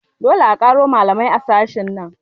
Dole a ƙaro malamai a sashen nan